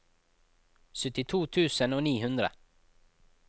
syttito tusen og ni hundre